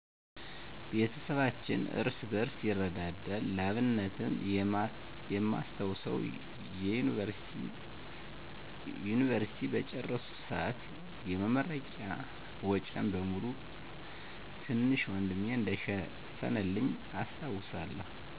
ቤተሰባችን እርስ በርስ ይረዳዳል። ለአብነትም የማስታውሰው፣" የዮኒቨርሲቲ" በጨረስኩ ሰአት የመረቂያ ወጨን በሙሉ ትንሽ ወንድሜ እንደሸፈነልኝ አስታውሳለሁ።